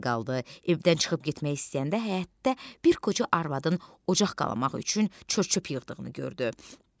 Evdən çıxıb getmək istəyəndə həyətdə bir qoca arvadın ocaq qalamaq üçün çör-çöp yığdığını gördü.